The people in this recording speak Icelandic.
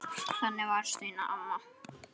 Þannig var Steina amma.